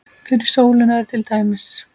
Fyrir sólina er til dæmis